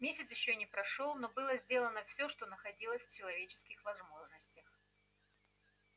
месяц ещё не прошёл но было сделано все что находилось в человеческих возможностях